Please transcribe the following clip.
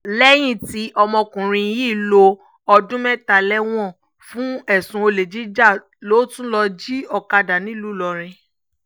lẹ́yìn tí ọmọkùnrin yìí lo ọdún mẹ́ta lẹ́wọ̀n fún ẹ̀sùn olè jíjà ló tún lọ́ọ́ jí ọ̀kadà nílùú ìlọrin